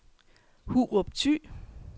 Hurup Thy